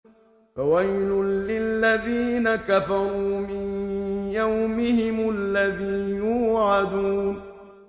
فَوَيْلٌ لِّلَّذِينَ كَفَرُوا مِن يَوْمِهِمُ الَّذِي يُوعَدُونَ